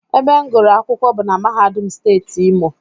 Ebe m gụrụ akwụkwọ bụ na mahadum steeti Imo